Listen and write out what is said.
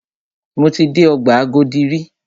Mo ti dé ọgbà Agodi rí.